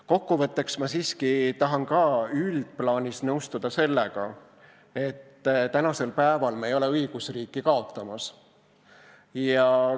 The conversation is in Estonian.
Kokku võttes ma tahan siiski üldplaanis nõustuda sellega, et me ei ole praegu õigusriiki kaotamas.